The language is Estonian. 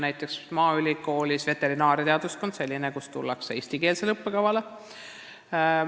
Näiteks maaülikooli veterinaariateaduskonda tullakse eestikeelsele õppekavale.